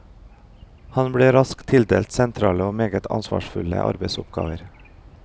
Han ble raskt tildelt sentrale og meget ansvarsfulle arbeidsoppgaver.